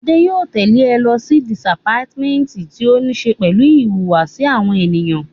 Adé yóò tẹ̀le ẹ lọ sí dìpátímẹ́ǹtì tí ó ní ṣe pẹ̀lú ìhùwàsí àwọn ènìyàn